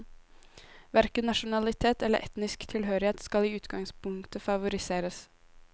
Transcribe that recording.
Hverken nasjonalitet eller etnisk tilhørighet skal i utgangspunktet favoriseres.